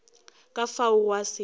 ka fao gwa se be